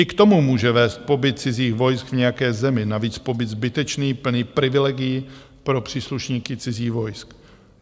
I k tomu může vést pobyt cizích vojsk v nějaké zemi, navíc pobyt zbytečný, plný privilegií pro příslušníky cizích vojsk.